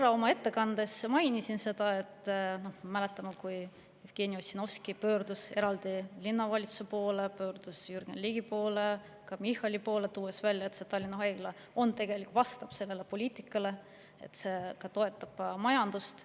Ma oma ettekandes korra mainisin seda, et me mäletame, kui Jevgeni Ossinovski pöördus eraldi linnavalitsuse poole, pöördus Jürgen Ligi poole, ka Michali poole, tuues välja, et Tallinna Haigla tegelikult vastab poliitikale, toetab ka majandust.